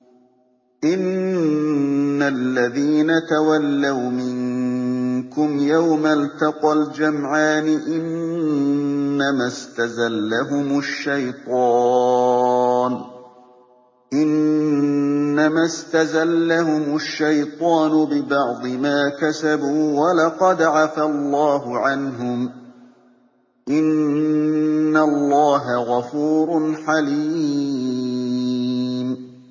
إِنَّ الَّذِينَ تَوَلَّوْا مِنكُمْ يَوْمَ الْتَقَى الْجَمْعَانِ إِنَّمَا اسْتَزَلَّهُمُ الشَّيْطَانُ بِبَعْضِ مَا كَسَبُوا ۖ وَلَقَدْ عَفَا اللَّهُ عَنْهُمْ ۗ إِنَّ اللَّهَ غَفُورٌ حَلِيمٌ